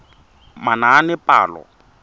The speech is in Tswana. manaanepalo